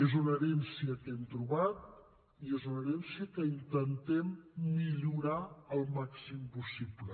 és una herència que hem trobat i és una herència que intentem millorar el màxim possible